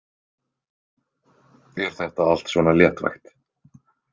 Er þetta allt svona léttvægt?